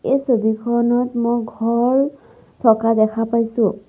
এই ছবিখনত মই ঘৰ থকা দেখা পাইছোঁ।